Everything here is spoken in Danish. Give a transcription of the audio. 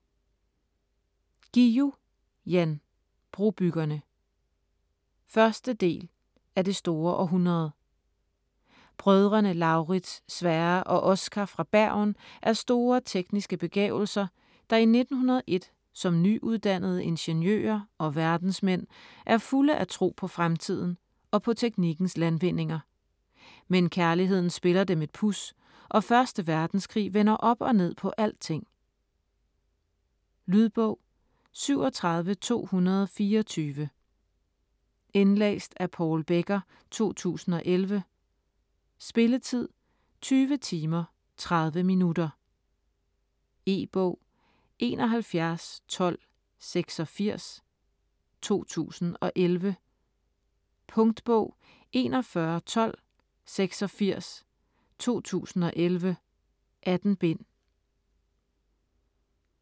Guillou, Jan: Brobyggerne 1. del af Det store århundrede. Brødrene Lauritz, Sverre og Oscar fra Bergen er store tekniske begavelser, der i 1901 som nyuddannede ingeniører og verdensmænd er fulde af tro på fremtiden og på teknikkens landvindinger. Men kærligheden spiller dem et puds, og første verdenskrig vender op og ned på alting. Lydbog 37224 Indlæst af Paul Becker, 2011. Spilletid: 20 timer, 30 minutter. E-bog 711286 2011. Punktbog 411286 2011. 18 bind.